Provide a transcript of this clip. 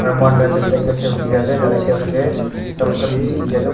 aro mohan right side tae ekta shelf dikhiase tatae shelf tae mohan saman bishi dikhiase mo.